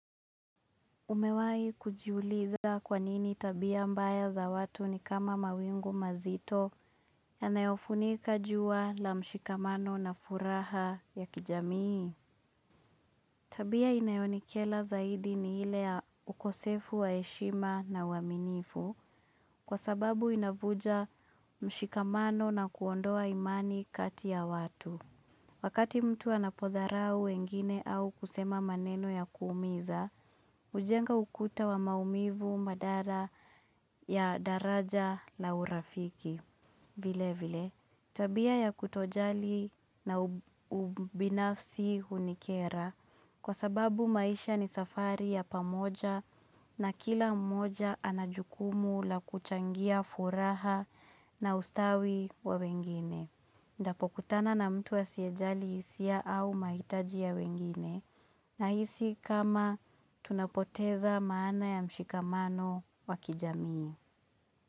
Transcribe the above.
Umewahi kujiuliza kwa nini tabia mbaya za watu ni kama mawingu mazito yanayofunika jua la mshikamano na furaha ya kijamii? Tabia inayonikera zaidi ni ile ya ukosefu wa heshima na uaminifu kwa sababu inavunja mshikamano na kuondoa imani kati ya watu. Wakati mtu anapodharau wengine au kusema maneno ya kuumiza, hujenga ukuta wa maumivu madara ya daraja la urafiki. Vile vile, tabia ya kutojali na ubinafsi hunikera kwa sababu maisha ni safari ya pamoja na kila mmoja ana jukumu la kuchangia furaha na ustawi wa wengine. Nitapokutana na mtu asiyejali hisia au mahitaji ya wengine nahisi kama tunapoteza maana ya mshikamano wa kijamii.